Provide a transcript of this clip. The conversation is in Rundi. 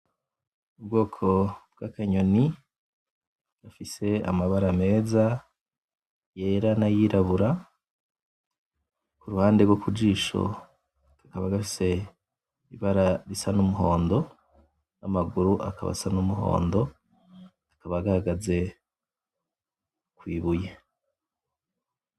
Ubwoko bwakanyoni gafise amabara meza yera nayirabura kuruhande gwo kujisho kakaba gafise ibara risa numuhondo namaguru akaba asa numuhondo kakaba gahagaze kwibuye